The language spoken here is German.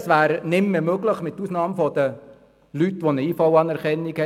Diese wäre nicht mehr möglich, mit Ausnahme von Leuten mit einer IV-Anerkennung;